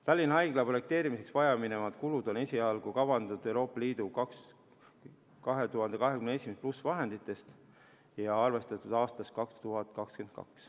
Tallinna Haigla projekteerimiseks vajaminevad kulud on esialgu kavandatud EL 2021+ vahenditest ja arvestatud aastast 2022.